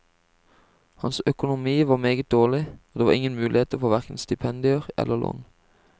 Hans økonomi var meget dårlig, og det var ingen muligheter for hverken stipendier eller lån.